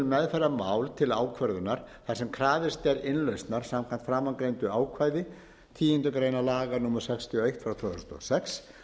meðferðar mál til ákvörðunar þar sem krafist er innlausnar samkvæmt framangreindu ákvæði tíundu grein laga númer sextíu og eitt tvö þúsund og sex